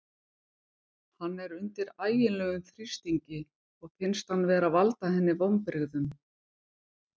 Hann er undir ægilegum þrýstingi og finnst hann vera að valda henni vonbrigðum.